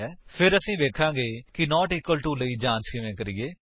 ਫਿਰ ਅਸੀ ਵੇਖਾਂਗੇ ਕਿ ਨਾਟ ਇਕਵਲ ਟੂ ਲਈ ਜਾਂਚ ਕਿਵੇਂ ਕਰੀਏ